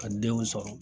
Ka denw sɔrɔ